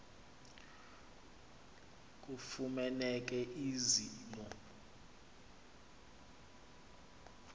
kufumaneke ezi mo